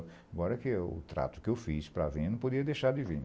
Agora que o trato que eu fiz para vir, eu não podia deixar de vir